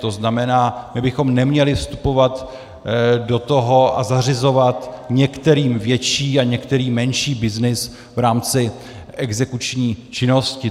To znamená, my bychom neměli vstupovat do toho a zařizovat některým větší a některým menší byznys v rámci exekuční činnosti.